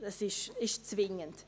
Das ist zwingend.